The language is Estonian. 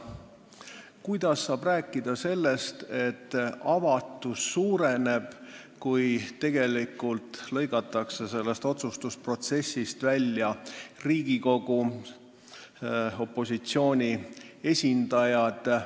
Kuidas saab rääkida sellest, et avatus suureneb, kui tegelikult lõigatakse otsustusprotsessist välja Riigikogu opositsiooni esindaja?